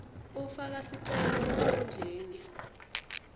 ufaka sicelo esikhundleni